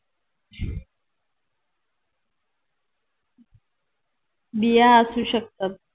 बिया असू शकतात